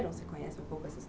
Você conhece um pouco essa?